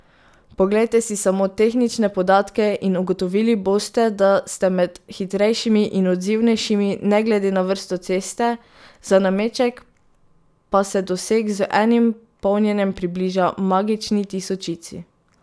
Poglejte si samo tehnične podatke in ugotovili boste, da ste med hitrejšimi in odzivnejšimi ne glede na vrsto ceste, za nameček pa se doseg z enim polnjenjem približa magični tisočici.